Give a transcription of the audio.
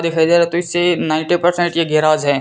दिखाई दे रहा है तो इससे नाइंटी परसेंट ये गेराज है।